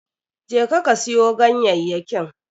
Je ka, ka siyo ganyayyakin.